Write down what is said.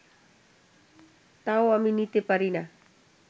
তাও আমি নিতে পারি না